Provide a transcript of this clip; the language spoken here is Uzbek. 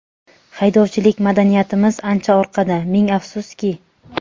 Haydovchilik madaniyatimiz ancha orqada, ming afsuski.